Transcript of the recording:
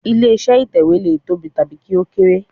Ilé iṣẹ́ ìtẹ̀wẹ́ lè tóbi tàbí kí ó kéré.